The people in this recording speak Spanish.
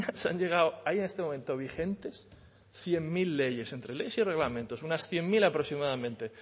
se han llegado hay en este momento vigentes cien mil leyes entre leyes y reglamentos unas cien punto cero aproximadamente